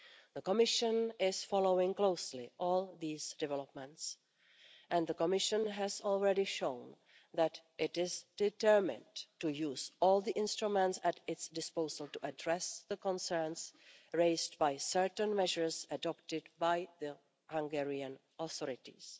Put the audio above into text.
The Commission is following closely all these developments and has already shown that it is determined to use all the instruments at its disposal to address the concerns raised by certain measures adopted by the Hungarian authorities.